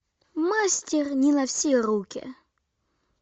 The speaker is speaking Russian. мастер не на все руки